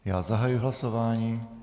Já zahajuji hlasování.